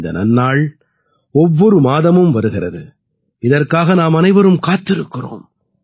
இந்த நன்னாள் ஒவ்வொரு மாதமும் வருகிறது இதற்காக நாமனைவரும் காத்திருக்கிறோம்